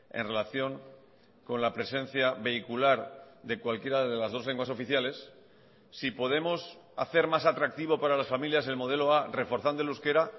en relación con la presencia vehicular de cualquiera de las dos lenguas oficiales si podemos hacer más atractivo para las familias el modelo a reforzando el euskera